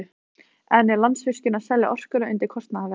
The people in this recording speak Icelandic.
En er Landsvirkjun að selja orkuna undir kostnaðarverði?